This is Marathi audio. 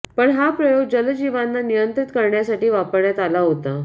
पण हा प्रयोग जलजीवांना नियंत्रीत करण्यासाठी वापरण्यात आला होता